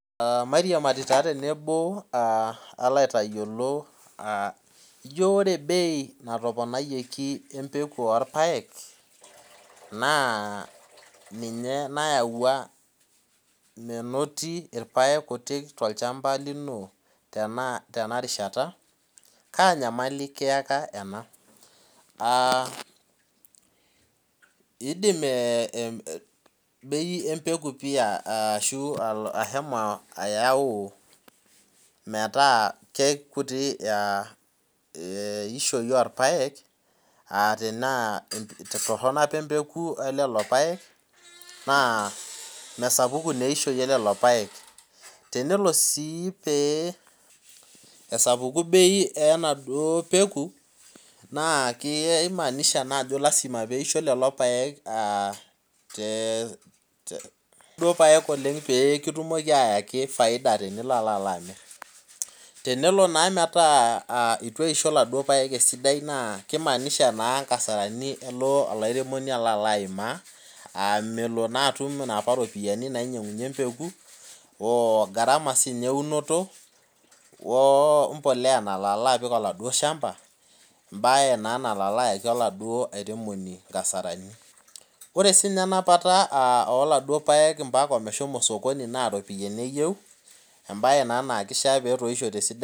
Aa mairiamari taa tenebo alo aitayiolo aah ijo ore bei natoponyioki embeku orpaek naa ninye naywuo menoti ilapek kuti tolchamba linotenarishsta kaa nyamali kiyaka ena Aah in'dim ebei embeku pi ashomo ayau metaa kekuti eishoi orpaek aa tenaa torhono opa embeku olelo paek naa mesapuku naa eishoi elelo paek Tenelo sii pee esapuku bei enaduo peku naa kinaanisha naa ajo lasima peisho lelo paek aa te duo paek oleng peekitumoki ayaki faida tenilo alamir Tenelo naa metaa eitu eisho iladuo paek esidai naa kimaanisha naa inkasarani elo olairemoni alo alaimaa aa melo naa atum inoopa ropiani nainyang'unye embeku oogharama siininye eunoto woo mbolea nalo alo apik oladuo shamba embae naa nalo alayaki oladuo airemoni nkasarani Ore siininye enapata oladuo paek omeshomo sokoni naa iropiani eyieu embae naa naa kifaa netoishote esidai